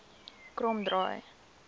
kromdraai